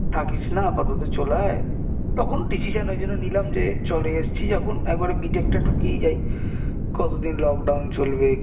থাকিস না আপাতত চলে আয় তখন decision ওই জন্যে নিলাম যে চলে এসেছি যখন একবার B tech টা ঢুকেই যাই কতদিন lock down চলবে